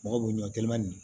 Mɔgɔ bɛ ɲɔ gelemanin